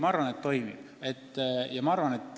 Ma arvan, et toimib.